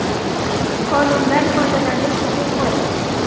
Qonundan foydalanish huquqi.